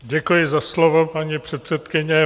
Děkuji za slovo, paní předsedkyně.